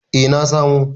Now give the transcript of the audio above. eh na samo